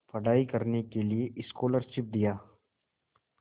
पढ़ाई करने के लिए स्कॉलरशिप दिया